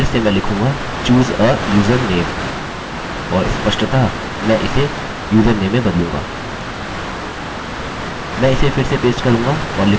मैं इसे नीचे पेस्ट करूँगा और फिर मैं लिखूँगा choose a username और स्पष्टतः मैं इसे username में बदलूँगा